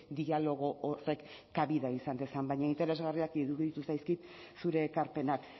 dialogo horrek kabida izan dezan baina interesgarriak iruditu zaizkit zure ekarpenak